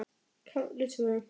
KAFLI TVÖ